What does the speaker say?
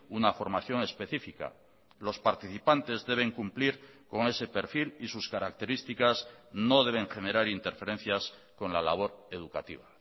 una formación específica los participantes deben cumplir con ese perfil y sus características no deben generar interferencias con la labor educativa